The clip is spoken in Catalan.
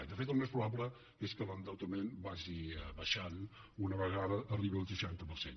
i de fet el més probable és que l’endeutament vagi baixant una vegada arribi al seixanta per cent